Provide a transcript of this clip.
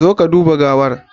Zo ka duba gawar